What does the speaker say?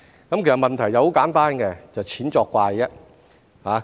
其實問題很簡單，就是"錢作怪"。